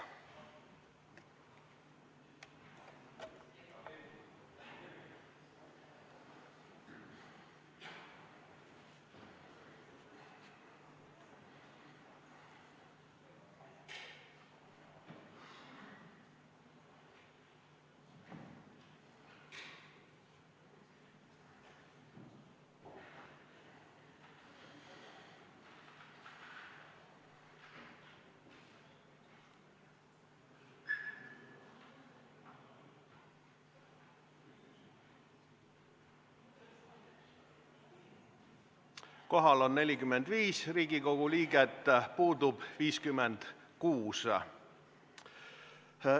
Kohaloleku kontroll Kohal on 45 Riigikogu liiget, puudub 56.